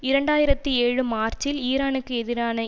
இரண்டு ஆயிரத்தி ஏழு மார்ச்சில் ஈரானுக்கு எதிரான